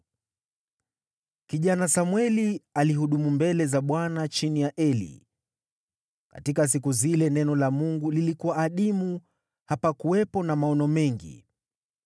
Kijana Samweli alihudumu mbele za Bwana chini ya Eli. Katika siku zile neno la Mungu lilikuwa adimu, hapakuwepo na maono mengi.